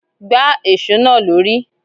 Gbà èsó náà lórí!